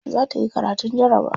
Za ta yi karatun jarabawa.